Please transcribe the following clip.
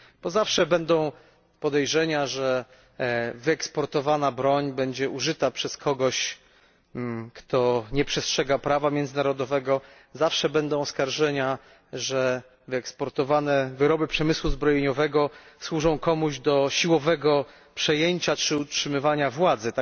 Zawsze będą podejrzenia, że wyeksportowana broń będzie użyta przez kogoś, kto nie przestrzega prawa międzynarodowego, zawsze będą oskarżenia, że wyeksportowane wyroby przemysłu zbrojeniowego służą komuś do siłowego przejęcia czy utrzymywania władzy.